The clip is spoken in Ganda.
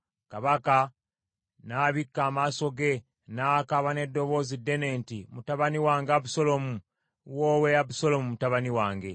Kabaka n’abikka amaaso ge n’akaaba n’eddoboozi ddene nti, “Mutabani wange Abusaalomu! Woowe Abusaalomu mutabani wange!”